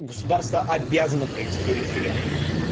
государство обязано провести референдум